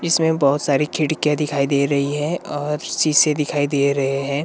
इसमें बहोत सारी खिड़कियां दिखाई दे रही है और शीशे दिखाई दे रहे हैं।